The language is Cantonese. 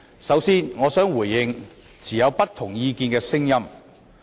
首先，我想回應不同意見的聲音。